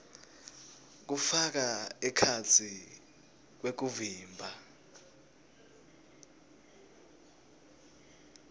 kufaka ekhatsi kwekuvimba